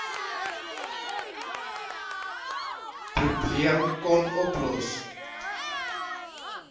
probleem kon oplos